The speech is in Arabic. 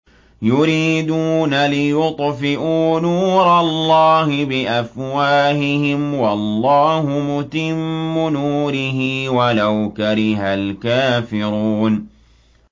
يُرِيدُونَ لِيُطْفِئُوا نُورَ اللَّهِ بِأَفْوَاهِهِمْ وَاللَّهُ مُتِمُّ نُورِهِ وَلَوْ كَرِهَ الْكَافِرُونَ